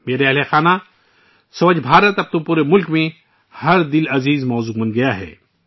میرے پریوار جنو ،' سووچھ بھارت ' اب پورے ملک کا پسندیدہ موضوع بن گیا ہے